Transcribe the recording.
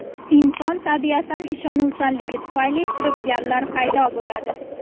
Inson tabiatan ishonuvchanligi tufayli firibgarlar paydo bo‘ladi.